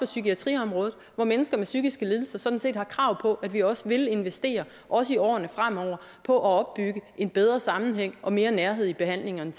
psykiatriområdet hvor mennesker med psykiske lidelser sådan set har krav på at vi også vil investere også i årene fremover på at opbygge en bedre sammenhæng og mere nærhed i behandlingerne